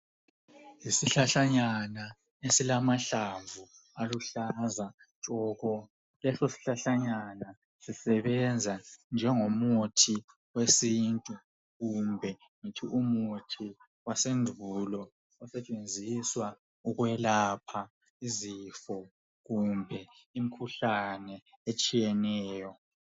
Isihlahlanyana esilamahlamvu aluhlaza tshoko. Leso sihlahlanyana sisebenza njengomuthi wesintu, kumbe ngithi umuthi wasendulo osetshenziswa ukwelapha izifo, kumbe imikhuhlane etshiyeneyo.